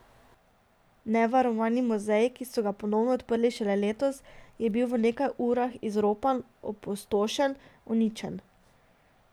Nevarovani muzej, ki so ga ponovno odprli šele letos, je bil v nekaj urah izropan, opustošen, uničen.